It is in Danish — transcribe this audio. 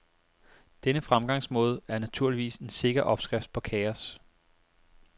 Denne fremgangsmåde er naturligvis en sikker opskrift på kaos.